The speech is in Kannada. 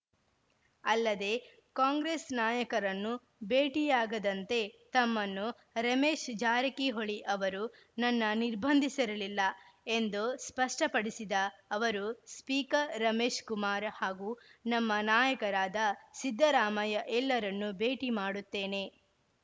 ಅಲ್ಲದೆ ಕಾಂಗ್ರೆಸ್‌ ನಾಯಕರನ್ನು ಭೇಟಿಯಾಗದಂತೆ ತಮ್ಮನ್ನು ರಮೇಶ್‌ ಜಾರಕಿಹೊಳಿ ಅವರು ನನ್ನ ನಿರ್ಬಂಧಿಸಿರಲಿಲ್ಲ ಎಂದು ಸ್ಪಷ್ಟಪಡಿಸಿದ ಅವರು ಸ್ಪೀಕರ್‌ ರಮೇಶ್‌ಕುಮಾರ ಹಾಗೂ ನಮ್ಮ ನಾಯಕರಾದ ಸಿದ್ದರಾಮಯ್ಯ ಎಲ್ಲರನ್ನೂ ಭೇಟಿ ಮಾಡುತ್ತೇನೆ